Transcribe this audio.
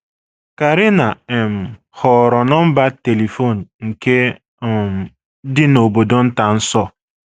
Karina um họọrọ nọmba telifon nke um dị n’obodo nta nso.